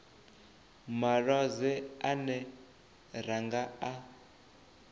malwadze ane ra nga a